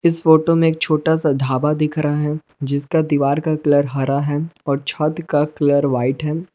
इस फोटो में एक छोटा सा ढाबा दिख रहा है जिस का दीवार का कलर हरा है और छत का कलर वाइट है।